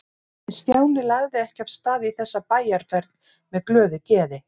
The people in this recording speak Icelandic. En Stjáni lagði ekki af stað í þessa bæjarferð með glöðu geði.